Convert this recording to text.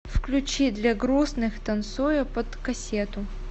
включи длягрустных танцую под кассету